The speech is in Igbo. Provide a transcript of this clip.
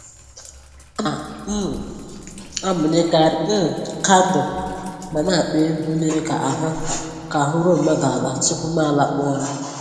Ana um m amụnyekarị um kandụl ma na akpọ egwu na-eme ka ahụ́ ka ahụ́ ruo mmadụ ala tupu mụ alakpuo ụra